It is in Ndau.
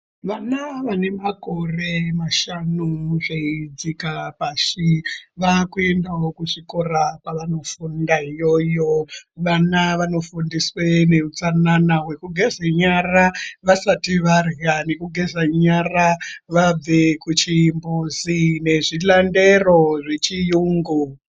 Vana vanemakore mashanu zveidzika pashi, vakuendawo kuzvikora kwavanofunda iyoyo. Vana vanofundiswe neutsanana wekugeze nyara vasati varya nekugeza nyara vabva kuchimbuzi nezvilandero zvechiyungu.